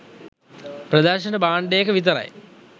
ප්‍රදර්ශන භාණ්ඩයක විතරයි.